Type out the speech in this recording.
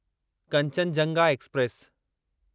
Kanchenjunga express